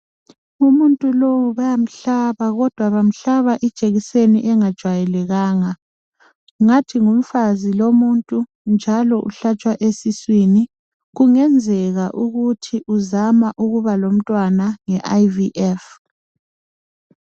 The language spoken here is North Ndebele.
Umuntu lowu bayamhlaba kodwa bamhlaba ijekiseni engajwayelekanga. Ngathi ngumfazi lomuntu njalo uhlatshwa esiswini . Kungenzeka ukuthi uzama ukuba lomntwana nge IVF.